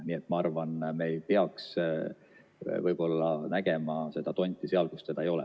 Nii et ma arvan, et me ei peaks nägema tonti seal, kus teda ei ole.